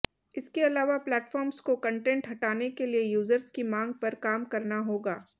इसके अलावा प्लेटफॉर्म्स को कंटेंट हटाने के लिए यूजर्स की मांग पर काम करना होगा